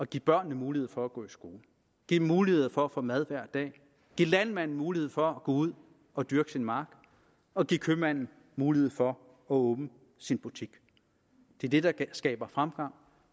give børnene mulighed for at gå i skole give dem mulighed for at få mad hver dag give landmanden mulighed for at gå ud og dyrke sin mark og give købmanden mulighed for at åbne sin butik det er det der skaber fremgang